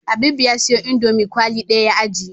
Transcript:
Habibu ya siyo indomie kwali daya ya ajiye